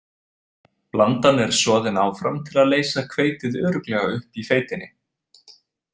Blandan er soðin áfram til að leysa hveitið örugglega upp í feitinni.